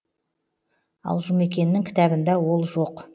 ал жұмекеннің кітабында ол жоқ